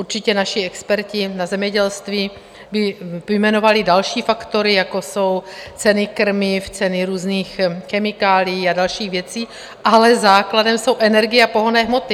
Určitě naši experti na zemědělství by vyjmenovali další faktory, jako jsou ceny krmiv, ceny různých chemikálií a dalších věcí, ale základem jsou energie a pohonné hmoty.